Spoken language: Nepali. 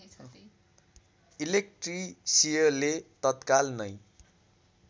इलेक्ट्रिसियले तत्काल नै